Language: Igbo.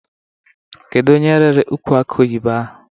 Kedu onye rịrị ukwụ akị oyibo ahụ?